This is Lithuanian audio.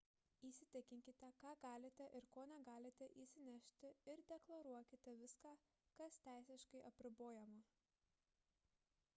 įsitikinkite ką galite ir ko negalite įsinešti ir deklaruokite viską kas teisiškai apribojama